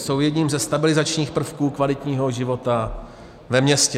Jsou jedním ze stabilizačních prvků kvalitního života ve městě.